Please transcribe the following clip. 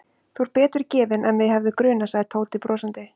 Þú ert betur gefinn en mig hefði grunað sagði Tóti brosandi.